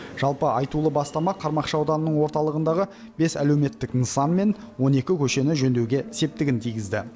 жалпы айтулы бастама қармақшы ауданының орталығындағы бес әлеуметтік нысан мен он екі көшені жөндеуге септігін тигізді